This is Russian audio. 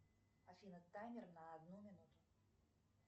афина таймер на одну минуту